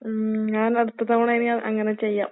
ഉം ഞാനടുത്ത തവണ ഇനി ഞാൻ അങ്ങനെ ചെയ്യാം.